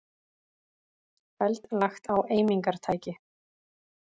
Hald lagt á eimingartæki